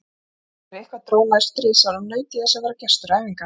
Þegar eitthvað dró nær stríðsárum, naut ég þess að vera gestur æfinga